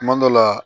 Kuma dɔ la